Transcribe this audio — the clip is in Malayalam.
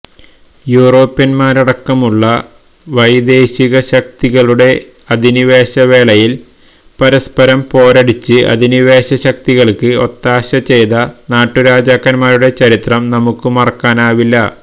യൂറോപ്യന്മാരടക്കമുള്ള വൈദേശിക ശക്തികളുടെ അധിനിവേശ വേളയിൽ പരസ്പരം പോരടിച്ച് അധിനിവേശശക്തികൾക്ക് ഒത്താശ ചെയ്ത നാട്ടുരാജാക്കന്മാരുടെ ചരിത്രം നമുക്കു മറക്കാനാവില്ല